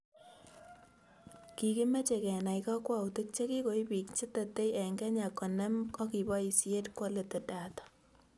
Kikimeche kenai kakwautik chekikoib biik che tetei eng Kenya konem akiboisie quality data